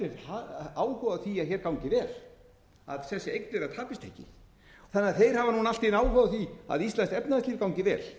áhuga á því að hér gangi vel að þessi eign þeirra tapist ekki þeir hafa núna allt í einu áhuga á því að íslenskt efnahagslíf gangi vel